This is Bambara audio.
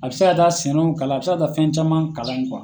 A bɛ se ka taa seniw kalan a bɛ se ka taa fɛn caman kalan ye